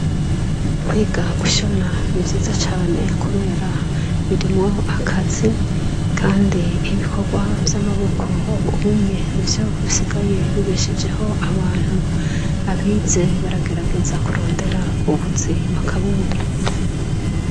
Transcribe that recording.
Kwiga gushona, nivyiza cane, kubera birimwo akazi, kandi ibikorwa vy'amaboko Ubu unye nivyo bisigaye bibeshejeho abantu. Abize baragerageza kurondera ubuzi bakabubura.